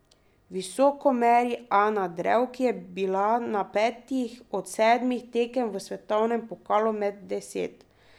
Visoko meri Ana Drev, ki je bila na petih od sedmih tekem v svetovnem pokalu med deset.